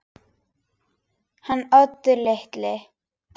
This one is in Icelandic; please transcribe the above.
Hann Oddur litli?